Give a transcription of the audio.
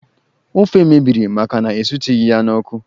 Ofe mebiri maka na esitụghị ya n'ọkụ